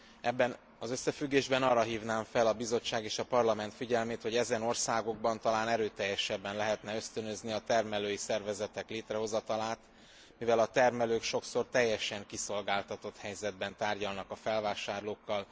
Ebben az összefüggésben arra hívnám fel a Bizottság és a Parlament figyelmét, hogy ezen országokban talán erőteljesebben lehetne ösztönözni a termelői szervezetek létrehozatalát, mivel a termelők sokszor teljesen kiszolgáltatott helyzetben tárgyalnak a felvásárlókkal.